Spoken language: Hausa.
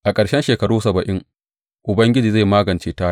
A ƙarshen shekaru saba’in, Ubangiji zai magance Taya.